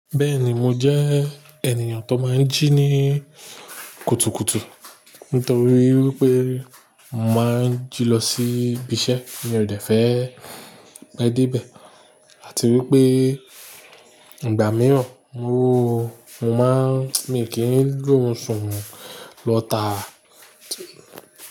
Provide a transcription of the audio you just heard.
Bẹ́ẹ̀ni mo jẹ́ ènìyàn tó máa ń jí ní kùtùkùtù. Nítorí wípé mo máa ń jí lọ sí ibiṣẹ́, mi ò dẹ̀ fẹ́ pe de íbẹ̀. Àti wípé ìgbà mìíràn mo máa ń, mi kì í ri òrùn lọ taa.